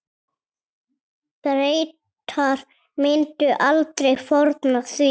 Bretar myndu aldrei fórna því.